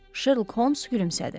Şerlok Holms gülümsədi.